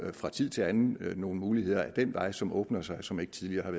er fra tid til anden nogle muligheder ad den vej som åbner sig som ikke tidligere